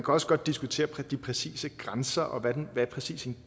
også godt diskutere de præcise grænser og hvad en gave præcist